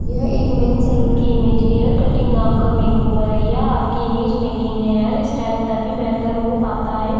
यह एक men salon की इमेज है हैरकट्टिंग आपका मेकओवर है यह आपकी इमेज मेकिंग है हेयर स्टाइल तभी बेहतर हो पता है।